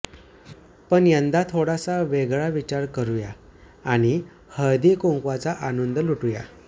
पण यंदा थोडासा वेगळा विचार करूया आणि हळदी कुंकवाचा आनंद लुटूया